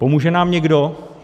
Pomůže nám někdo?